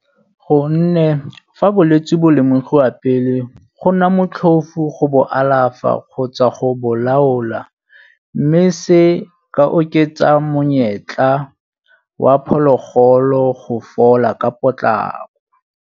Gonne fa bolwetsi bo lemogiwa pele go nna motlhofu go bo alafa kgotsa go bo laola mme se se ka oketsa monyetla wa phologolo go fola ka potlako.